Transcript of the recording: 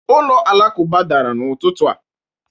ụlọ alakụba dara n'ụtụtụ a